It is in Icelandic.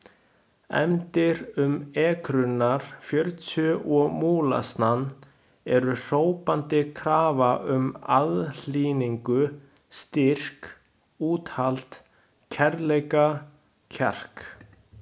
Efndir um ekrurnar fjörutíu og múlasnann eru hrópandi krafa um aðhlynningu, styrk, úthald, kærleika, kjark.